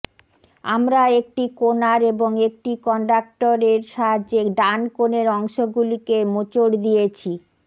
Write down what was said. আমরা একটি কোণার এবং একটি কন্ডাকটর এর সাহায্যে ডান কোণের অংশগুলিকে মোচড় দিয়েছি